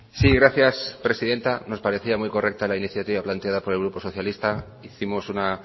sí gracias presidenta nos parecía muy correcta la iniciativa planteada por el grupo socialista hicimos una